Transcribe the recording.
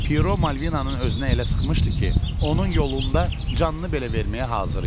Piro Malvinanı özünə elə sıxmışdı ki, onun yolunda canını belə verməyə hazır idi.